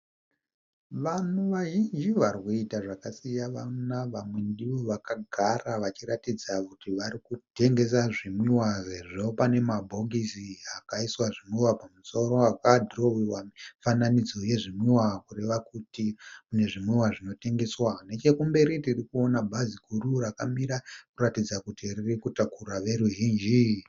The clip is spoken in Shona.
Vanhu vazhinji varikuita zvakasiyana vamwe ndivo vakagara vachiratidza kuti vari kutengesa zvimwiwa, sezvo pane mabhokisi akaiswa zvimwiwa pamusoro aka dhirowewa mifananidzo yezvimwiwa kureva kuti mune zvimwiwa zvinotengeswa, nechekumberi tiri kuona bhazi guru rakamira kuratidza kuti riri kutakura veruzhinji.